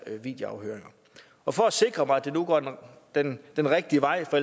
videoafhøringer og for at sikre mig at det nu går den rigtige vej for